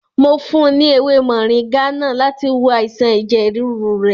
Mo fún un ní èwe mọ̀ríngá náà láti wo àìsàn ẹ̀jẹ̀ rúru rẹ̀.